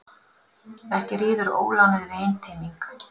Ekki ríður ólánið við einteyming.